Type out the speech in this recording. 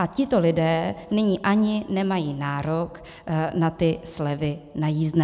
A tito lidé nyní ani nemají nárok na ty slevy na jízdné.